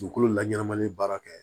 Dugukolo la ɲɛnamalen baara kɛ